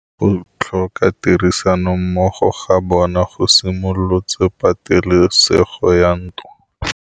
Go tlhoka tirsanommogo ga bone go simolotse patêlêsêgô ya ntwa.